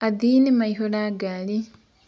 Athĩĩ nĩmaĩhũra ngarĩ.